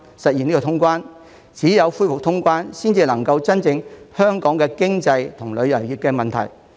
只有恢復通關，才能夠真正解決香港的經濟及旅遊業的問題。